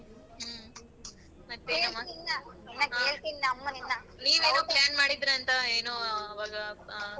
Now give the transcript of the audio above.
ಹ್ಮ plan ಮಾಡಿದ್ರಿ ಅಂತ ಏನೋ ಆವಾಗ ಆ.